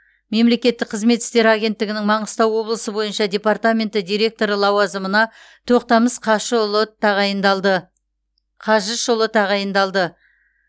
мемлекеттік қызмет істері агенттігінің маңғыстау облысы бойынша департаменті директоры лазазымына тоқтамыс қажышұлы тағайындалды